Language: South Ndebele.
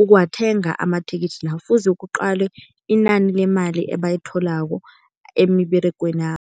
ukuwathenga amathikithi la. Kufuze kuqalwe inani lemali ebayitholako emiberegwenabo.